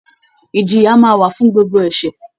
Ìjìyà máa wà fún gbogbo ẹ̀ṣẹ̀